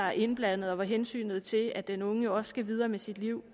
er indblandet og hvor hensynet til at den unge jo også skal videre med sit liv